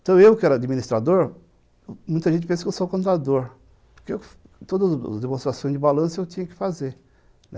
Então, eu que era administrador, muita gente pensa que eu sou contador, porque todas as demonstrações de balanço eu tinha que fazer, né.